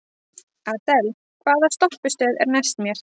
Adel, hvaða stoppistöð er næst mér?